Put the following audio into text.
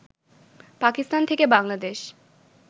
পাকিস্থান থেকে বাংলাদেশ